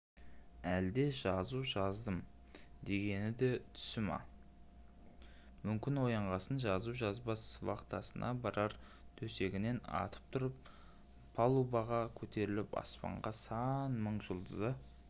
әлде жазу жаздым дегені де түсі ме мүмкін оянғасын жазу жазбас вахтасына барар төсегінен атып тұрып палубаға көтеріліп аспанда сан мың жұлдызы